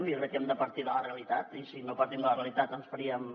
jo crec que hem de partir de la realitat i si no partim de la realitat ens faríem